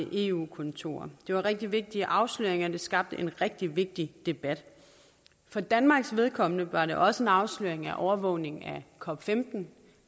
af eu kontorer det var rigtig vigtige afsløringer det skabte en rigtig vigtig debat for danmarks vedkommende var det også en afsløring af overvågning af cop15